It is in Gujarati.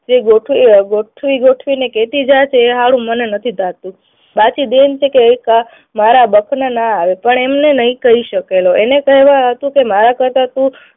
ગોઠવી, ગોઠવી ગોઠવીને કેથી જશે એ હારું મને નથી ધાતું. બહારથી બેન કહે કે એક મારા માં ના આવ્યો. પણ એમને નહી કહી શકેલો. એને કહેવા હાતર તે મારા કરતા તું